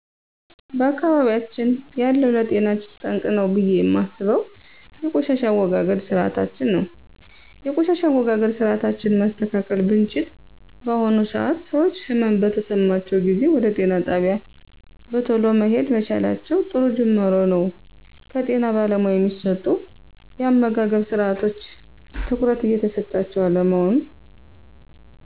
በአካባቢያችን ያለው ለጤና ጠንቅ ነው ብየ እማስበው የቆሻሻ አወጋገድ ስርአታችን ነው የቆሻሻ አወጋገድ ስርአታችን ማስተካከል ብችል በአሁኑ ሰአት ሰወች ህመም በተሰማቸው ጊዜ ወደ ጤና ጣቢያ በተሎ መሄድ መቻላቸው ጥሩ ጁማሮ ነው ከጤና ባለሙያ እሚሰጡ የአመጋገብስርአቶች ትኩረት እየተሰጣቸው አለመሆኑ